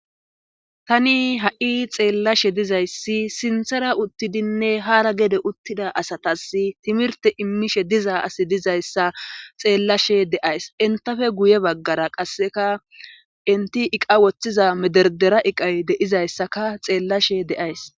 Tani ha7i xeellashe dizayssi sinthera uttidinne haara gede uttida asatas timirte immishe dizaa asi dizayssa xeellashe deays intafe guye baggara qasseka inti iqa woththiza mederdera iqay deizayssaka xeellashe deays